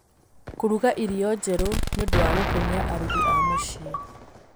Kũruga irio njerũ nĩ ũndũ wa gũkenia arugi a mũciĩ.